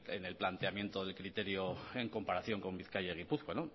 en el planteamiento de criterio en comparación con bizkaia y gipuzkoa